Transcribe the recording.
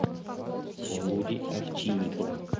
володи овчинникова